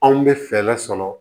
Anw bɛ fɛɛrɛ sɔrɔ